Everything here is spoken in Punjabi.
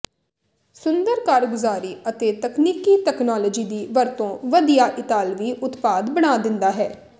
ਸੁੰਦਰ ਕਾਰਗੁਜ਼ਾਰੀ ਅਤੇ ਤਕਨੀਕੀ ਤਕਨਾਲੋਜੀ ਦੀ ਵਰਤੋ ਵਧੀਆ ਇਤਾਲਵੀ ਉਤਪਾਦ ਬਣਾ ਦਿੰਦਾ ਹੈ